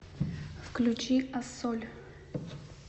включи ассоль